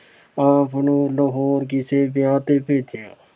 ਆਪ ਨੂੰ ਲਾਹੌਰ ਕਿਸੇ ਵਿਆਹ ਤੇ ਭੇਜਿਆ।